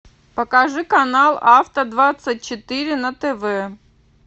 покажи канал авто двадцать четыре на тв